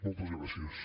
moltes gràcies